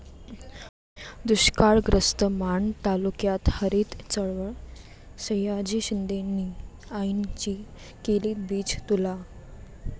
दुष्काळग्रस्त माण तालुक्यात हरित चळवळ, सयाजी शिंदेंनी आईंची केली बीजतुला